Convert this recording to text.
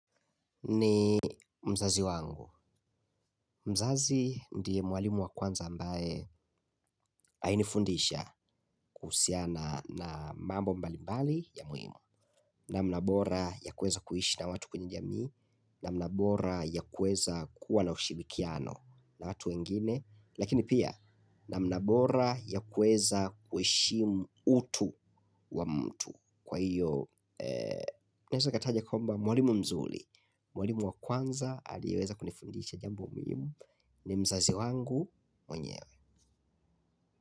Ni mzazi wangu. Mzazi ndiye mwalimu wa kwanza ambaye alinifundisha kuhusiana na mambo mbalimbali ya muhimu. Namna bora ya kueza kuishi na watu kwenye jamii. Namna bora ya kueza kuwa na ushirikiano na watu wengine. Lakini pia namna bora ya kueza kuheshimu utu wa mtu. Kwa hiyo, naeza kataja kwamba mwalimu mzuri mwalimu wa kwanza aliweza kunifundisha jambo muhimu. Ni mzazi wangu mwenyewe.